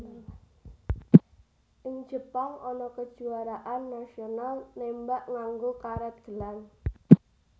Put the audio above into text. Ing Jepang ana kejuwaraan nasional nembak nganggo karet gelang